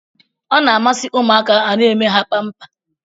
Ọ na-amasị ụmụaka a na-eme ha pampa.